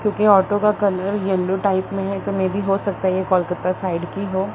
क्योंकि ऑटो का colour yellow type में है तो मेबी हो सकता है ये कोलकता साइड की हो।